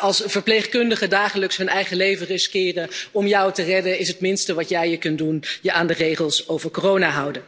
Als verpleegkundigen dagelijks hun eigen leven riskeren om jou te redden, is het minste wat je kunt doen je aan de regels over corona houden.